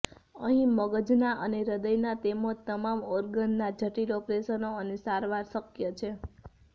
અહી મગજના અને હૃદયના તેમજ તમામ ઓર્ગનના જટિલ ઓપરેશનો અને સારવાર શકય છે